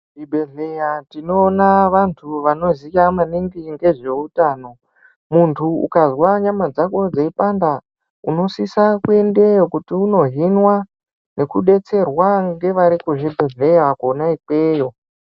Muzvibhedhleya tinoona vantu vanoziya maningi ngezveutano, muntu ukazwa nyama dzako dzeipanda unosisa kuendeyo kuti unohinwa nekudetsrewa ngevari kuzvibhedhleya kona ikweyo